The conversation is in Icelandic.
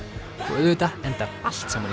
og auðvitað endar allt saman í